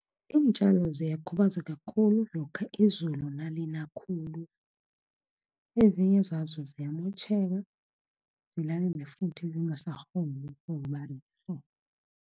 Iintjalo ziyakhubazeka khulu, lokha izulu nalina khulu, ezinye zazo ziyamotjheka, futhi ungasakghona